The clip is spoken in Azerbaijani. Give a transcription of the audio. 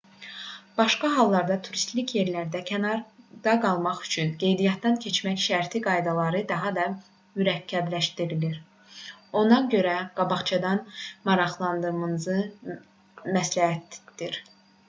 başqa hallarda turistik yerlərdən kənarda qalmaq üçün qeydiyyatdan keçmək şərti qaydaları daha da mürəkkəbləşdirir ona görə qabaqcadan maraqlanmanız məsləhətdir